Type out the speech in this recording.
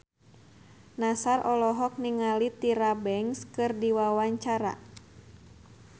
Nassar olohok ningali Tyra Banks keur diwawancara